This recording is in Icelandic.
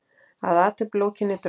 Að athöfn lokinni dró